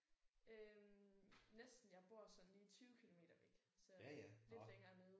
Øh næsten jeg bor sådan lige 20 kilometer væk så lidt længere nede